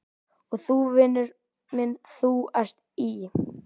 Og þú, vinur minn, ÞÚ ERT Í